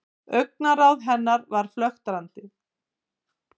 Augnaráð hennar var flöktandi.